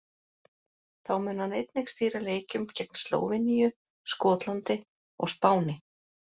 Þá mun hann einnig stýra leikjum gegn Slóveníu, Skotlandi og Spáni.